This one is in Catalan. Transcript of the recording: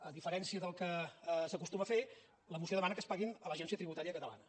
a diferència del que s’acostuma a fer la moció demana que es paguin a l’agència tributària catalana